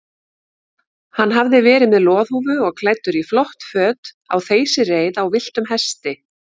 Hann hafði verið með loðhúfu og klæddur í flott föt á þeysireið á villtum hesti.